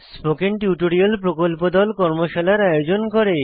spoken tutorial প্রকল্প দল কর্মশালার আয়োজন করে